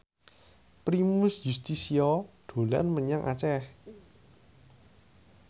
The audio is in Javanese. Primus Yustisio dolan menyang Aceh